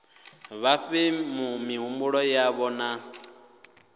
vha fhe mihumbulo yavho na